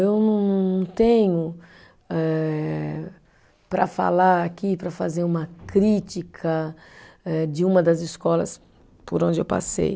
Eu não não não tenho eh, para falar aqui, para fazer uma crítica eh, de uma das escolas por onde eu passei.